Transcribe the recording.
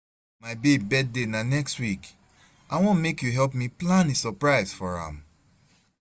My babe birthday na next week, I wan make you help me plan a surprise for am